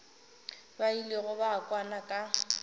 ba ilego ba kwana ka